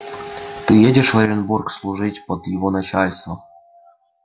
ты едешь в оренбург служить под его начальством